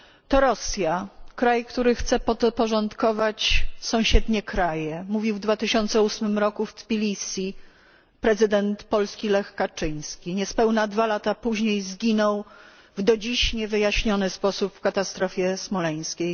To Rosja, kraj który chce sobie podporządkować sąsiednie kraje mówił w 2008 roku w Tbilisi prezydent Polski Lech Kaczyński. Niespełna 2 lata później zginął w do dziś niewyjaśniony sposób w katastrofie smoleńskiej.